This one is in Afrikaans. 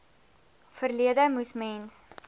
verlede moes mens